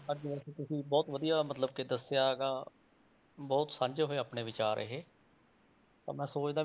ਅੱਜ ਵੈਸੇ ਤੁਸੀਂ ਬਹੁਤ ਵਧੀਆ ਮਤਲਬ ਕਿ ਦੱਸਿਆ ਗਾ, ਬਹੁਤ ਸਾਂਝੇ ਹੋਏ ਆਪਣੇ ਵਿਚਾਰ ਇਹ, ਤਾਂ ਮੈਂ ਸੋਚਦਾ,